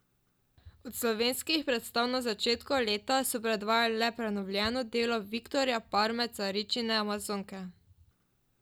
Od slovenskih predstav na začetku leta so predvajali le prenovljeno delo Viktorja Parme Caričine Amazonke.